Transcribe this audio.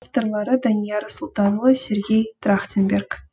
авторлары данияр сұлтанұлы сергей трахтенберг